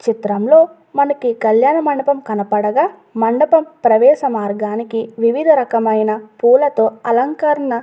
చిత్రంలో మనకి కళ్యాణమండపం కనపడగ మండపం ప్రవేశమార్గానికి వివిధ రకమైన పూలతో అలంకరణ --